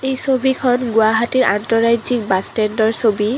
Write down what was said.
এই ছবিখন গুৱাহাটীৰ আন্তঃৰাজ্যিক বাছ ষ্টেণ্ডৰ ছবি।